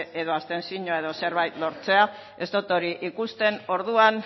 edo abstentzioa edo zerbait lortzea ez dot hori ikusten orduan